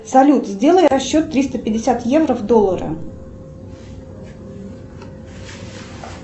салют сделай расчет триста пятьдесят евро в доллары